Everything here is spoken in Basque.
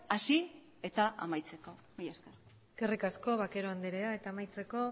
hasi eta amaitzeko mila esker eskerrik asko bakero andrea eta amaitzeko